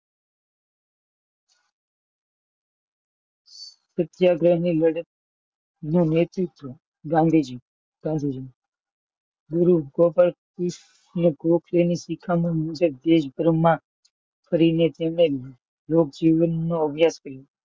સત્યાગ્રહ ની લડત નું નેતૃત્વ ગાંધીજીએ કર્યું. ગુરુ ગોપાલ કૃષ્ણ ગોખલેની શિખામણ મુજબ દેશદ્રોમાં કરીને લોકજીવન નો ત્યાગ કર્યો.